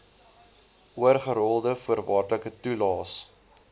oorgerolde voorwaardelike toelaes